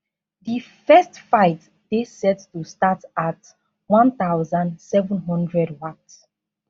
di first fight dey set to start at1700 wat